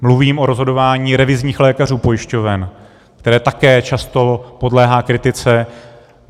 Mluvím o rozhodování revizních lékařů pojišťoven, které také často podléhá kritice.